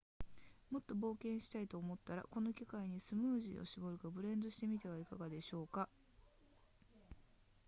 もっと冒険したいと思ったらこの機会にスムージーを絞るかブレンドしてみてはいかがでしょうか